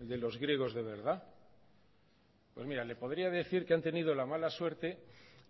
el de los griegos de verdad pues mira le podría decir que han tenido la mala suerte